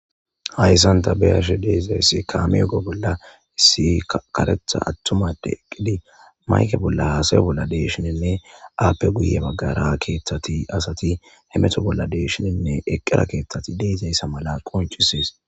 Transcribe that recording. hayssanta beyashe deezayssi kaame ego bolla issi karetha attumade eqqidi mayke bolla haasayo bolla deeshininne aappe guye baggara keeththati asati hemeto bolla deeshininne eqqera keeththati deezayssa mala qoncisees